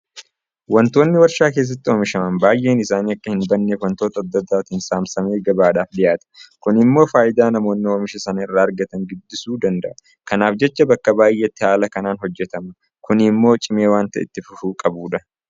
Waantonni warshaa keessatti oomishaman baay'een isaanii akka hinbanneef waantota adda addaatiin saamsamee gabaadhaaf dhiyaata. Kun immoo faayidaa namoonni oomisha sana irraa argatan guddisuu danda'a. Kanaaf jecha bakka baay'eetti haala kanaan hojjetama. Kun immoo cimee waanta itti fufuu qabudha.